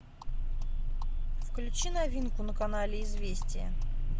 включи новинку на канале известия